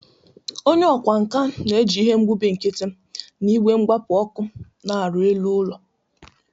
Onye ọkwá nkà na-eji ihe mgbubi nkiti na igwe mgbapu ọkụ na-arụ elu ụlọ.